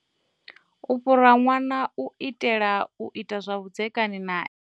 U fhura ṅwana u itela u ita zwa vhudzekani nae.